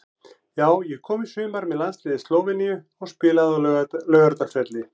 Já ég kom í sumar með landsliði Slóveníu og spilaði á Laugardalsvelli.